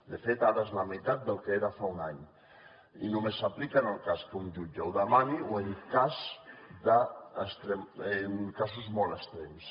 de fet ara és la meitat del que era fa un any i només s’aplica en el cas que un jutge ho demani o en casos molt extrems